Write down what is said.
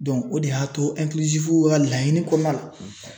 o de y'a to ka laɲini kɔnɔna na